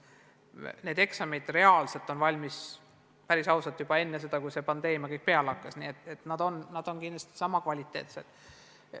Need eksamid olid reaalselt valmis, päris ausalt, juba enne seda, kui see pandeemia puhkes, nii et need on kindlasti sama kvaliteetsed.